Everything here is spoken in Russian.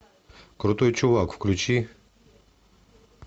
крутой чувак включи